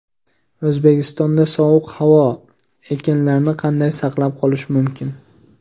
O‘zbekistonda sovuq havo: ekinlarni qanday saqlab qolish mumkin?.